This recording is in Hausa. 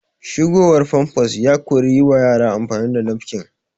Shigowar famfas ya kori yi wa yara amfani da nafkin